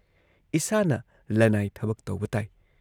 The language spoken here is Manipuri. ꯏꯁꯥꯅ ꯂꯟꯅꯥꯏ ꯊꯕꯛ ꯇꯧꯕ ꯇꯥꯏ ꯫